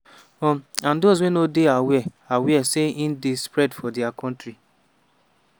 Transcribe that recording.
um and those wey no dey aware aware say e dey spread for dia kontri.